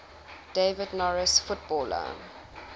david norris footballer